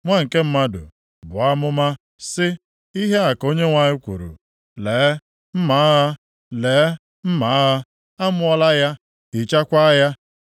“Nwa nke mmadụ buo amụma sị, ‘Ihe a ka Onyenwe anyị kwuru: “ ‘Lee, mma agha, lee, mma agha, a mụọla ya, hichakwaa ya.